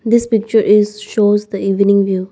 in this picture is shows the evening view.